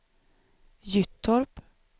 Gyttorp